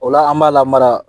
O la an b'a lamara